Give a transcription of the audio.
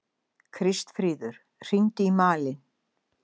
Kristfríður, hringdu í Malin.